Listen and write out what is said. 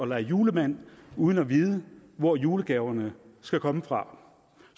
lege julemand uden at vide hvor julegaverne skal komme fra